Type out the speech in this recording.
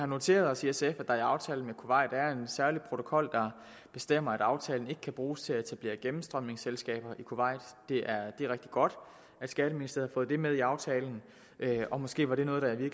noteret os at der i aftalen med kuwait er en særlig protokol der bestemmer at aftalen ikke kan bruges til at etablere gennemstrømningsselskaber i kuwait det er rigtig godt at skatteministeriet har fået det med i aftalen og måske var det noget der i